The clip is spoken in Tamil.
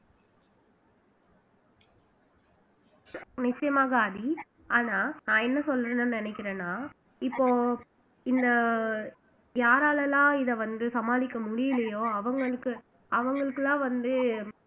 நிச்சயமாக ஆதி ஆனா நான் என்ன சொல்றேன்னு நினைக்கிறேன்னா இப்போ இந்த யாரால எல்லாம் இத வந்து சமாளிக்க முடியலையோ அவங்களுக்கு அவங்களுக்கெல்லாம் வந்து